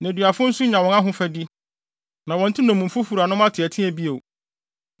Nneduafo nso nya wɔn ahofadi; na wɔnte nnommumfo wuranom ateɛteɛ bio.